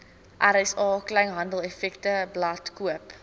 rsa kleinhandeleffektewebblad koop